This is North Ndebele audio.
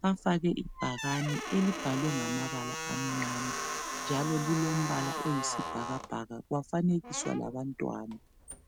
bafake ibhakane elibhalwe ngamabala amnyama njalo njalo lilombala oyisibhakabhaka kwafanekiswa labantwana